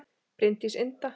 Bryndís Inda